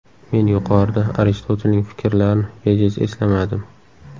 Men yuqorida Aristotelning fikrlarini bejiz eslamadim.